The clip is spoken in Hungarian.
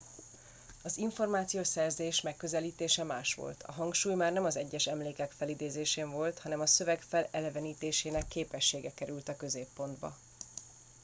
az információszerzés megközelítése más volt a hangsúly már nem az egyes emlékek felidézésen volt hanem a szöveg felelevenítésének képessége került a középpontba